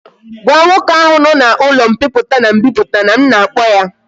Gwa nwoke ahu no na ulo mpiputa and mbiputa na m na akpo ya!